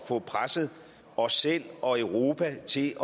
få presset os selv og europa til